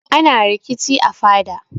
Ana rikici a fada.